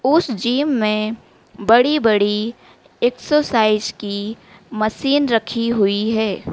ऊस जीम में बड़ी-बड़ी एक्सरसाइज की मसीन रखी हुई है।